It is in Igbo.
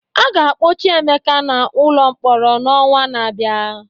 A ga-akpọchi Emeka n'ụlọ mkpọrọ n'ọnwa na-abịa.